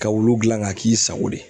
Ka wulu gilan ka k'i sago de ye